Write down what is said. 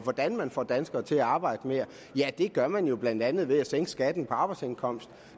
hvordan man får danskere til at arbejde mere det gør man jo blandt andet ved at sænke skatten på arbejdsindkomst